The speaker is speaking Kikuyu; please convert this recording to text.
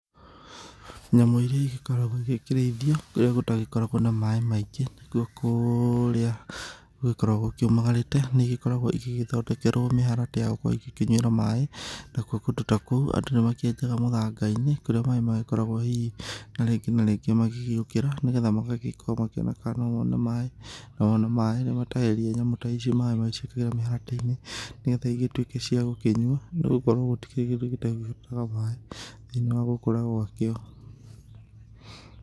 Nyamũ iria igĩkoragwo igĩkĩrĩithio kũrĩa gũtagĩkoragwo na maĩ maingĩ, nĩkwo kũrĩa gũgĩkoragwo kũmagarĩte nĩigĩkoragwo igĩgĩthondekerwo mĩharatĩ ya gũkorwo igĩkĩnyuĩra maĩ, nakuo kũndũ ta kũu andũ nĩ magĩkĩenjaga mũthanga-inĩ kũrĩa maĩ magĩkoragwo hihi na rĩngĩ na rĩngĩ magĩgĩũkĩra nĩgetha magagĩkorwo makĩona kana no mone maĩ, na mona maĩ nĩ matahagĩria nyamũ ta ici maĩ magaciĩkĩrĩra mĩharatĩ-inĩ nĩ getha igĩtuĩke cia gũkĩnyua nĩ gũkorwo gũtirĩ kĩndũ gĩtabataraga maĩ thĩinĩ wa gũkũra gwakĩo.